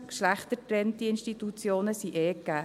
geschlechtergetrennte Institutionen sind ohnehin gegeben.